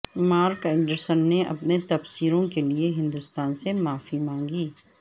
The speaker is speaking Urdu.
مارک اینڈرسن نے اپنے تبصروں کے لئے ہندوستان سے معافی مانگی